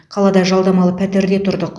қалада жалдамалы пәтерде тұрдық